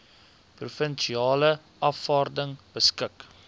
provinsiale afvaarding beskik